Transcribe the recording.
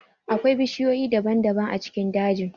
Akwai bishiyoyi daban-daban a cikin dajin.